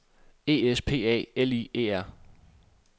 E S P A L I E R